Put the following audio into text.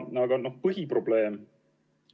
Aga põhiprobleem ...